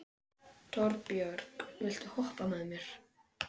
Torbjörg, viltu hoppa með mér?